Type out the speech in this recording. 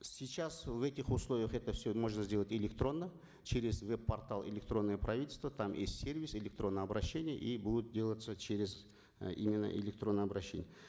сейчас в этих условиях это все можно сделать электронно через веб портал электронное правительство там есть сервис электронные обращения и будут делаться через э именно электронные обращения